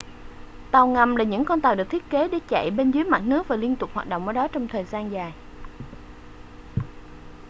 tàu ngầm là những con tàu được thiết kế để chạy bên dưới mặt nước và liên tục hoạt động ở đó trong thời gian dài